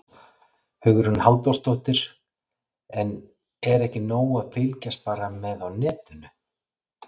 Hugrún Halldórsdóttir: En er ekki nóg að fylgjast bara með á netinu?